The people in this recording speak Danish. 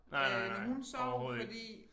Øh når hun sov fordi